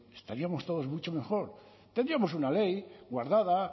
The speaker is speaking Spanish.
estaríamos todos mucho mejor tendríamos una ley guardada